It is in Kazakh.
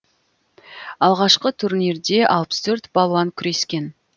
алғашқы турнирде алпыс төрт балуан күрескен